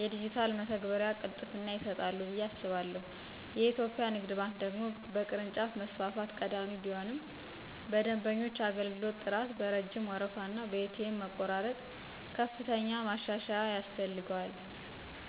የዲጂታል መተግበሪያ ቅልጥፍና ይሰጣሉ ብዬ አስባለሁ። የኢትዮጵያ ንግድ ባንክ ደግሞ በቅርንጫፍ መስፋፋት ቀዳሚ ቢሆንም በደንበኞች አገልግሎት ጥራት፣ በረጅም ወረፋና በኤ.ቲ.ኤም መቆራረጥ ከፍተኛ ማሻሻያ ያስፈልገዋል።